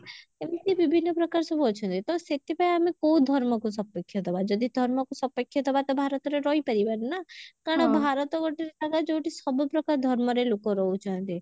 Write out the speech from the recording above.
ଏମତି ବିଭିନ୍ନ ପ୍ରକାର ସବୁ ଅଛନ୍ତି ତ ସେଥିପାଇଁ ଆମେ କଉ ଧର୍ମକୁ ସପକ୍ଷ ଦବା ଯଦି ଧର୍ମକୁ ସପକ୍ଷ ଦବା ତ ଭାରତରେ ରହିପାରିବାନି ନା କାରଣ ଭରତ ଗୋଟେ ଜାଗା ଯଉଠି ସବୁପ୍ରକାର ଧର୍ମରେ ଲୁକ ରହୁଛନ୍ତି